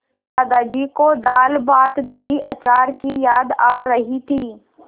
दादाजी को दालभातदहीअचार की याद आ रही थी